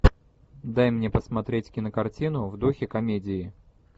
дай мне посмотреть кинокартину в духе комедии